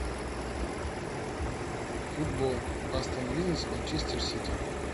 футбол астон вилла с манчестер сити